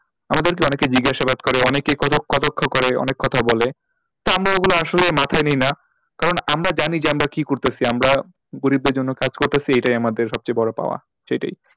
আমাদেরকে অনেকে জিজ্ঞাসাবাদ করে অনেকে কত কটাক্ষ করে অনেক কথা বলে তা আমরা ওগুলো আসলেই মাথায় নিই না কারণ আমরা জানি যে আমরা কি করতাছি আমরা গরিবদের জন্য কাজ করতাছি এইটাই আমাদের সব থেকে বড়ো পাওয়া সেইটাই,